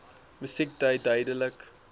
musiek dui duidelik